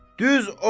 Düz oxu.